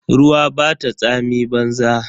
Ruwa bata tsami banza.